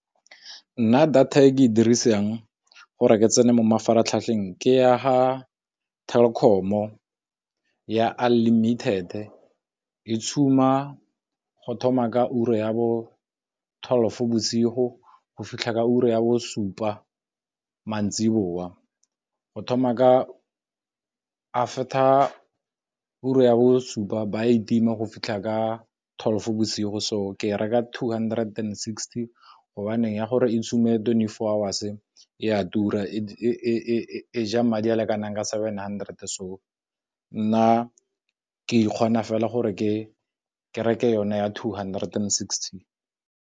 Nna data e ke e dirisang gore ke tsena mo mafaratlhatlheng ke ya fa Telkom-o ya unlimited e e go thoma ka ura ya twelve bosigo go fitlha ka ura ya bo supa mantsiboa, go thoma ka after ura ya bo supa ba e tima go fitlha ka twelve bosigo. So ke reka two hundred and sixty gobaneng ya gore e twenty four hours e a tura e ja madi a lekanang ka seven hundred, so nna ke ikgona fela gore ke reke yone ya two hundred and sixty.